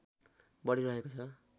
बढी रहेको छ